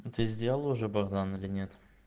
а ты сделал уже богдан или нет